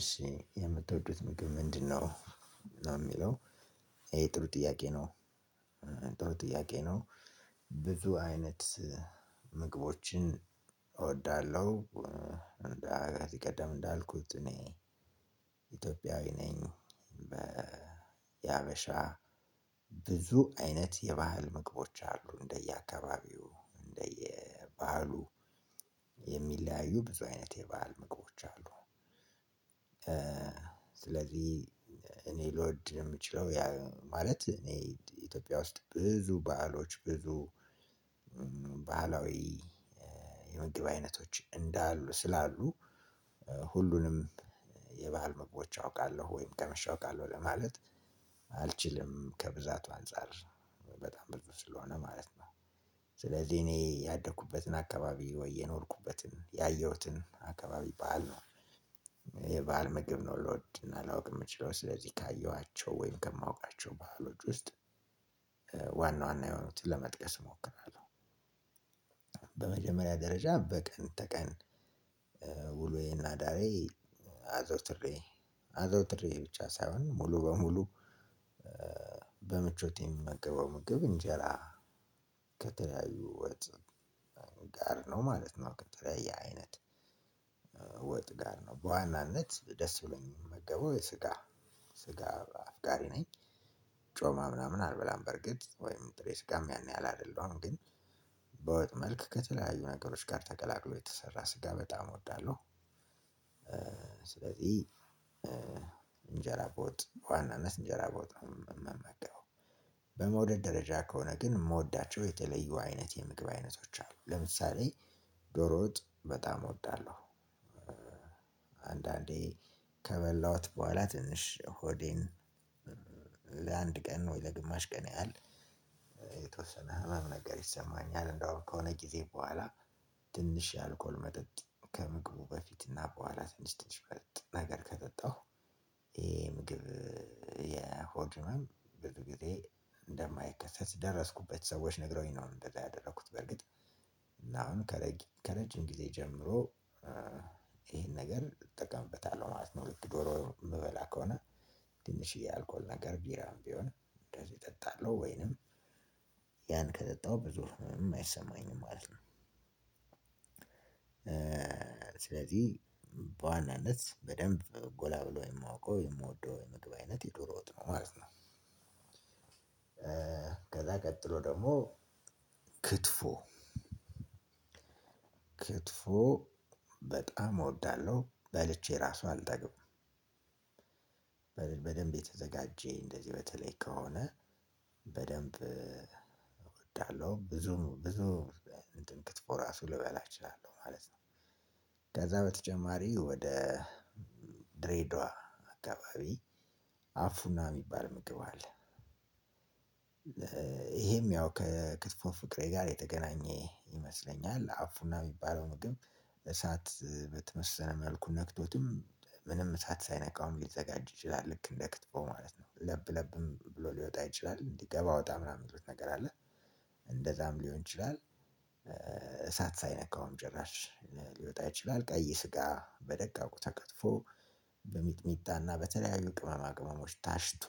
እሺ የምትወዱት ምግብ ምንድነው? ነው የሚለው ይሄ ጥሩ ጥያቄ ነው። ጥሩ ጥያቄ ነው። ብዙ አይነት ምግቦችን እወዳለሁ። እንደ ከዚህ ቀደም እንዳልኩት እኔ። ኢትዮጵያዊ ነኝ በ በሀበሻ ብዙ አይነት የባህል ምግቦች አሉ እንደየአካባቢው እንደየባሀሉ የሚለያዩ ብዙ አይነት የባህል ምግቦች አሉ። ስለዚህ እኔ ልወድ የምችለው ማለት እኔ ኢትዮጵያ ውስጥ ብዙ ባህሎች ብዙ ባህላዊ የምግብ አይነቶች እንዳሉ ስላሉ ሁሉንም የባህል ምግቦች አውቃለሁ ወይም ቀመሻ አውቃለሁ ለማለት አልችልም ከብዛቱ አንፃር በጣም ብዙ ስለሆነ ማለት ነው። ስለዚህ እኔ ያደኩበትን አካባቢ ወይ የኖርኩበትን ያየሁትን አካባቢ በዓል ነው። የበአል ምግብ ነው ልወድን አላውቅም የምችለው ስለዚህ ካየኋቸው ወይም ከማውቃቸው ባህሎች ውስጥ ዋና ዋና የሆኑትን ለመጥቀስ እሞክራለሁ። በመጀመሪያ ደረጃ በቀን ተቀን ውሉዬና ዳሬ አዘውትሬ አዘውትሬ ብቻ ሳይሆን ሙሉ በሙሉ በምቾት የምመገበው ምግብ እንጀራ። ከተለያዩ ወጥ ጋር ነው ማለት ነው። ቀጥለያየ አይነት ወጥ ጋር ነው በዋናነት ደስ ብሎኝ የምመገበው የስጋ ስጋ አፍቃሪ ነኝ። ጮማ ምናምን አልበላም በርግጥ ወይም የስጋም ያን ያህል አይደለሁም ግን በወጥ መልክ ከተለያዩ ነገሮች ጋር ተቀላቅሎ የተሰራ ስጋ በጣም እወዳለሁ። ስለዚህ እንጀራ በወጥ በዋናነት እንጀራ ቦታ መመገበው በመውደድ ደረጃ ከሆነ ግን የምወዳቸው የተለዩ አይነት የምግብ አይነቶች አሉ ለምሳሌ ዶሮውጥ በጣም እወዳለሁ። አንዳንዴ ከበላሁት በኋላ ትንሽ ሆዴን ለአንድ ቀን ወይ ለግማሽ ቀን ያህል የተወሰነ ህመም ነገር ይሰማኛል እንደውም ከሆነ ጊዜ በኋላ ትንሽ የአልኮል መጠጥ ከምግቡ በፊትና በኋላ ትንሽ ትንሽ መጠጥ ነገር ከጠጣሁ ይሄ ምግብ ህመም ብዙ ጊዜ እንደማይከሰት ደረስኩበት ሰዎች ነግረውኝ ነው። እንደዛ ያደረኩት በርግጥ እና አሁን ከረጅም ጊዜ ጀምሮ ይሄን ነገር እጠቀምበታለሁ ማለት ነው። ዶሮ የምበላ ከሆነ ትንሽየ አልኮል ነገር ቢራ ቢሆንም እንደዚህ እጠጣለሁ ወይንም ያን ከጠጣሁ ብዙ ህመም አይሰማኝም ማለት ነው። ስለዚህ በዋናነት በደንብ ጎላ ብሎ የማውቀው የምወደው የምግብ አይነት የዶሮ ወጥ ነው ማለት ነው። ከዛ ቀጥሎ ደግሞ ክትፎ ክትፎ በጣም እወዳለሁ በልቼ ራሱ አልጠግብም። በደንብ የተዘጋጀ እንደዚህ በተለይ ከሆነ በደንብ እወዳለሁ ብዙ ብዙ ክትፎ ራሱ ልበላ እችላለሁ ማለት ነው። ከዛ በተጨማሪ ወደ ድሬዳዋ አካባቢ አፉና የሚባል ምግብ አለ። ይሄም ያው ከክትፎን ፍቅሬ ጋር የተገናኘ ይመስለኛል አፉና የሚባለው ምግብ እሳት በተበሰለ መልኩ ነክቶትም ምንም እሳት ሳይነካዉም አሁን ሊዘጋጅ ይችላል ልክ እንደ ክትፎ ማለት ነው ለብ ለብም ብሎ ሊወጣ አይችልም እንዲገባ አወጣ ምናምን ምድር ነገር አለ። እንደዛም ሊሆን ይችላል። እሳት ሳይነካውም ጭራሽ ሊወጣ ይችላል ቀይ ስጋ በደቃቁ ተከትፎ በሚጥሚጣና በተለያዩ ቅመማ ቅመሞች ታሽቶ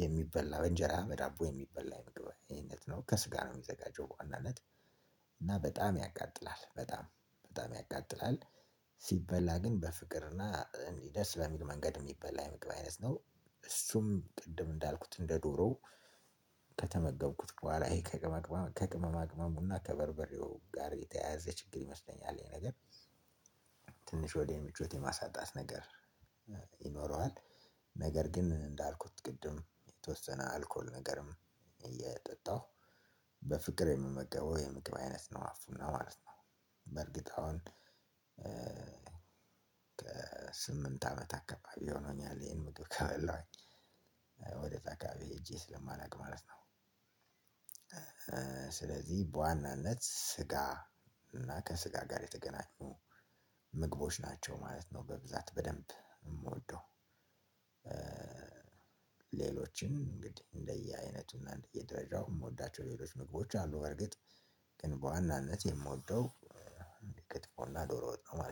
የሚበላ በእንጀራ በዳቦ የሚበላ የምግብ አይነት ነው ከስጋ ነው የሚዘጋጀው በዋናነት እና በጣም ያቃጥላል በጣም በጣም ያቃጥላል። ሲበላ ግን በፍቅርና እንዲህ ደስ በሚል መንገድ የሚበላ የመግባት ነው እሱም ቅድም እንዳልኩት እንደ ዶሮ ከተመገብኩት በኋላ ይሄ ከቅመማ ቅመሙና ከበርበሬው ጋር የተያያዘ ችግር ይመስለኛል ይሄ ነገር ትንሽ ሆድ ምቾት የማሳጣት ነገር ይኖረዋል። ነገር ግን እንዳልኩት ቅድም የተወሰነ አልኮል ነገርም እየጠጣሁ በፍቅር የምመገበው የምግብ አይነት ነው አፉና ማለት ነው። በርግጥ አሁን አመት አካባቢ ሆኖኛል ይሄን ምግብ ካበላኝ ወደ ታካቢ ሄጄ ስለማናውቅ ማለት ነው። ስለዚህ በዋናነት ስጋ እና ከስጋ ጋር የተገናኙ ምግቦች ናቸው ማለት ነው በብዛት በደንብ የምወደው። ሌሎች እንግዲህ እንደየ አይነቱ እንደየ ደረጃው የምወዳቸው ሌሎች ምግቦች አሉ በእርግጥ ግን በዋናነት ክትፎ ዶሮ ወጥ ነው።